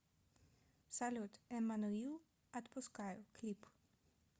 салют эммануил отпускаю клип